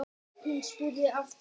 Hún spurði aftur.